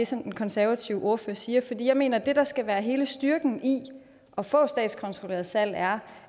som den konservative ordfører siger for jeg mener at det der skal være hele styrken i at få et statskontrolleret salg er